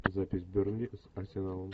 запись бернли с арсеналом